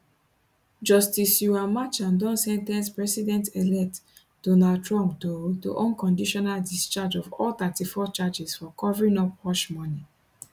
justice juan merchan don sen ten ce presidentelect donald trump to to unconditional discharge of all 34 charges for covering up hushmoney